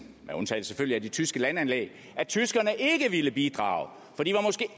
selvfølgelig af de tyske landanlæg og at tyskerne ikke ville bidrage fordi